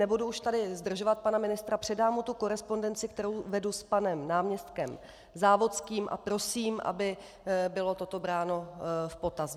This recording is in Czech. Nebudu už tady zdržovat pana ministra, předám mu tu korespondenci, kterou vedu s panem náměstkem Závodským, a prosím, aby bylo toto bráno v potaz.